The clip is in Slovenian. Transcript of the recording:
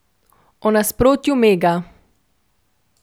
O nasprotju mega.